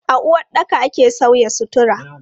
A uwaɗɗaka ake sauya sutura.